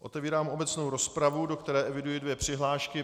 Otevírám obecnou rozpravu, do které eviduji dvě přihlášky.